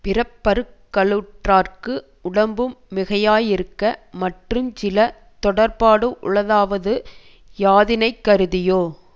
பிறப்பறுக்கலுற்றார்க்கு உடம்பும் மிகையாயிருக்க மற்றுஞ் சில தொடர்ப்பாடு உளதாவது யாதினைக்கருதியோ